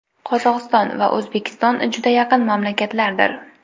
Qozog‘iston va O‘zbekiston juda yaqin mamlakatlardir.